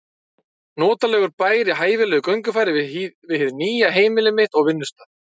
Notalegur bær í hæfilegu göngufæri við hið nýja heimili mitt og vinnustað.